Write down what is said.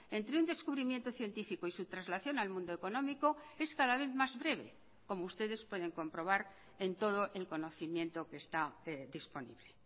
entre un descubrimiento científico y su traslación al mundo económico es cada vez más breve como ustedes pueden comprobar en todo el conocimiento que está disponible